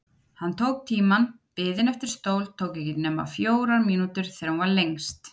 Hann tók tímann: biðin eftir stól tók ekki nema fjórar mínútur þegar hún var lengst.